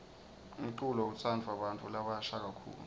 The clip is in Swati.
umculo utsandvwa bantfu labasha kakhulu